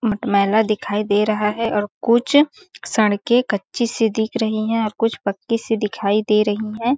मटमेला दिखाई दे रहा है और कुछ सड़कें कच्ची सी दिख रही हैं और कुछ पक्की सी दिखाई दे रही हैं।